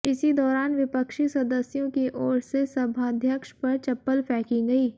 इसी दौरान विपक्षी सदस्यों की ओर से सभाध्यक्ष पर चप्पल फेंकी गयी